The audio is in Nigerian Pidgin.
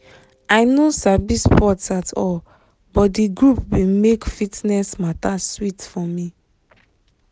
i no sabi sports at all but di group bin make fitness mata sweet for me